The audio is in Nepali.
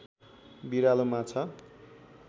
बिरालो माछा